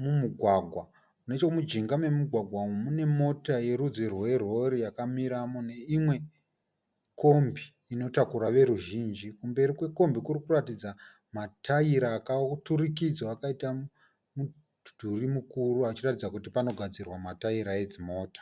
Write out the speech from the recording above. mumugwagwa. Necho mujinga memugwagwa umu mune mota yerudzi rwerori yakamiramo neimwe kombi inotakura veruzhinji. Kumberi kwekombi kuri kuratidza matayira akaturikidzwa akaita mudhuri mukuru achiratidza kuti pano gadzirwa matayira edzimota.